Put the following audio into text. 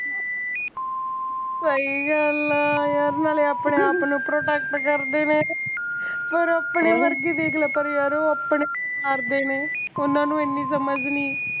ਸਹੀ ਗੱਲ ਆ ਯਾਰ ਨਾਲੇ ਆਪਣੇ ਆਪ ਨੂੰ protect ਕਰਦੇ ਨੇ ਮੇਰੇ ਆਪਣੇ ਵਰਗੇ ਦੇਖ ਲੈ ਪਰ ਯਾਰ ਉਹ ਆਪਣੇ ਮਾਰਦੇ ਨੇ ਉਹਨਾਂ ਨੂੰ ਐਨੀਂ ਸਮਝ ਨੀ